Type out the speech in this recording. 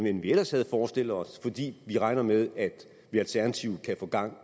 end vi havde forestillet os fordi vi regner med at vi alternativt kan få gang